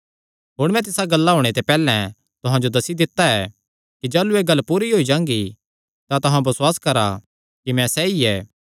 हुण मैं तिसा गल्ला होणे ते पैहल्लैं तुहां जो दस्सी दित्ता ऐ कि जाह़लू एह़ गल्ल पूरी होई जांगी तां तुहां बसुआस करा कि मैं सैई ऐ